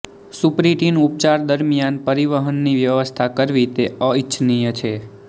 સુપરીટિન ઉપચાર દરમિયાન પરિવહનની વ્યવસ્થા કરવી તે અનિચ્છનીય છે